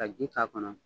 Ka ji k'a kɔnɔ